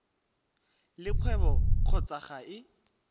le kgwebo kgotsa ga e